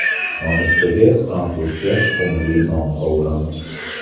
Nonushtaga fransuzcha tuxumli non qovuramiz.